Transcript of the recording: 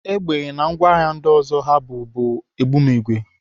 Egbe na ngwa agha ndị ọzọ ha bu bụ ogbunigwe.